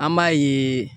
An b'a yeee